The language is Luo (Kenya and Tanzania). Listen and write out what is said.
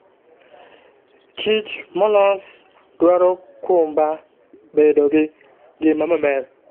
Kich molos dwaro kumba bedo gi ngima maber.